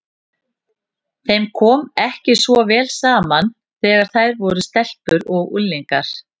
Þeim kom ekki svo vel saman þegar þær voru stelpur og unglingar.